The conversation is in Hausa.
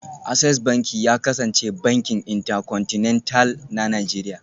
Access Banki ya kasance bankin Intercontinental na Najeriya